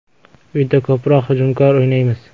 Uyda ko‘proq hujumkor o‘ynaymiz.